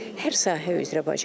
Hər sahə üzrə bacarır.